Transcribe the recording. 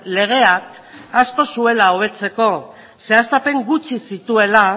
legeak asko zuela hobetzeko zehaztapen gutxi zituela